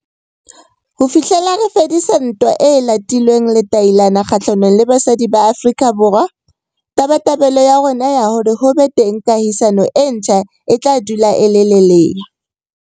Ho fihlela re fedisa ntwa e latilweng letailana kgahlanong le basadi ba Afrika Borwa, tabatabelo ya rona ya hore ho be teng kahisano e ntjha e tla dula e le lelea.